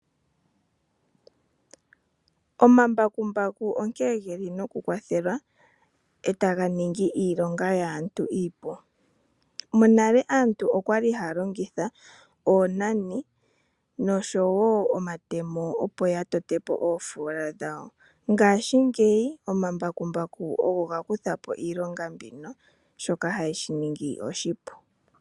Omambakumbaku onkene taga kwathele e taga ningi iilonga yaantu iipu. Monale aantu oyali haya longitha oonani nosho wo omatemo opo yatote po oofola dhawo, ngashingeyi omambakumbaku ogo gakutha po iilonga mbyoka shoka shili oshipu.